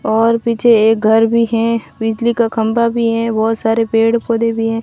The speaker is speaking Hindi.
और पीछे एक घर भी है बिजली का खंबा भी है बहुत सारे पेड़ पौधे भी है।